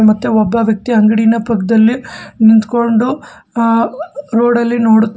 ಮತ್ತೆ ಒಬ್ಬ ವ್ಯಕ್ತಿ ಅಂಗಡಿನ ಪಕ್ಕದಲ್ಲಿ ನಿಂತ್ಕೊಂಡು ಆ ರೋಡ ಲ್ಲಿ ನೋಡು --